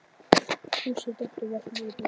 Fúsi datt og valt niður brekkuna.